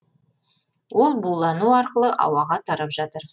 ол булану арқылы ауаға тарап жатыр